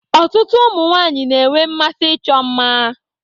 Ọtụtụ ụmụ nwanyị na-enwe mmasị ịchọ mma.